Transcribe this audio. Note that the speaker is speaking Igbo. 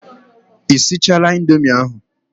Ị sichaala indomi ahụ?